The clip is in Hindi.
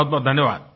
बहुतबहुत धन्यवाद